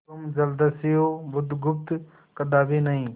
तुम जलदस्यु बुधगुप्त कदापि नहीं